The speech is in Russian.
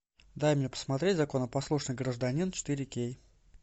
дай мне посмотреть законопослушный гражданин четыре кей